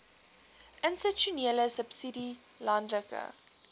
institusionele subsidie landelike